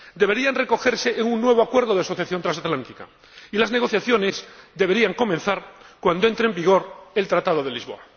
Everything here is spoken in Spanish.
deberían recogerse en un nuevo acuerdo de asociación transatlántica, y las negociaciones deberían comenzar cuando entre en vigor el Tratado de Lisboa.